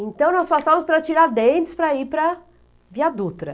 Então, nós passávamos para Tiradentes, para ir para Viadutra.